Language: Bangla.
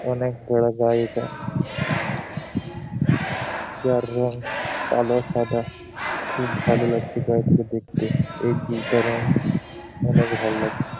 অনেক বড় গাড়িটা যার রং কালো সাদা খুব ভালো লাগছে গাড়িটাকে দেখতে। এই দুটা রঙ অনেক ভাল লাগছে ।